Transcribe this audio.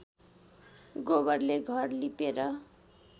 गोबरले घर लिपेर